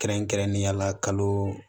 Kɛrɛnkɛrɛnnenya la kalo